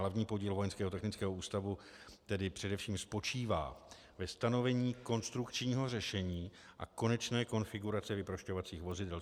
Hlavní podíl Vojenského technického ústavu tedy především spočívá ve stanovení konstrukčního řešení a konečné konfigurace vyprošťovacích vozidel.